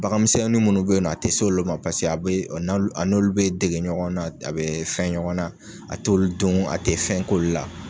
Baganminni munnu be yen nɔ, a tɛ s'olu ma, paseke be a n'olu bɛ dege ɲɔgɔn na, a be fɛn ɲɔgɔn na, a t'olu dun, a te fɛn k'olu la.